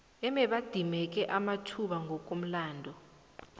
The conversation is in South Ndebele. ababedimeke amathuba ngokomlando